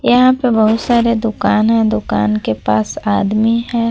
यहां पे बहोत सारे दुकान है दुकान के पास आदमी है।